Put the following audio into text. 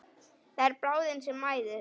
Það er bráðin sem mæðist.